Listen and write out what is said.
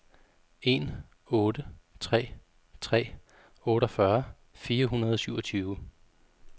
en otte tre tre otteogfyrre fire hundrede og syvogtyve